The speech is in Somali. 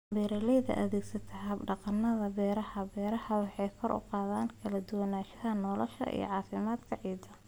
Beeraleyda adeegsata hab-dhaqannada beeraha-beeraha waxay kor u qaadaan kala duwanaanshaha noolaha iyo caafimaadka ciidda.